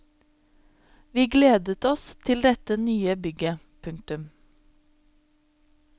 Vi gledet oss til dette nye bygget. punktum